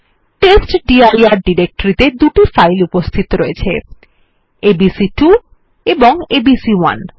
টেস্টডির directory তে দুটি file উপস্থিত রয়েছে এবিসি2 এবং এবিসি1